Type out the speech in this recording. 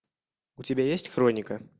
у тебя есть хроника